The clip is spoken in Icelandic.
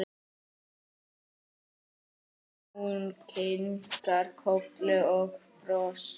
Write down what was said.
Hún kinkar kolli og brosir.